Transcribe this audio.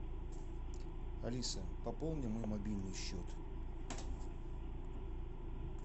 алиса пополни мой мобильный счет